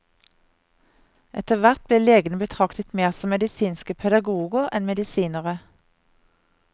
Etterhvert blir legene betraktet mer som medisinske pedagoger enn medisinere.